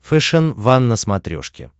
фэшен ван на смотрешке